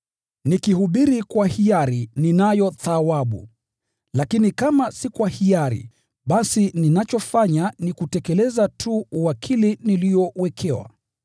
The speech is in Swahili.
Nikihubiri kwa hiari, ninayo thawabu. Lakini kama si kwa hiari, basi ninachofanya ni kutekeleza tu uwakili niliowekewa.